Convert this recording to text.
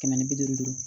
Kɛmɛ ni bi duuru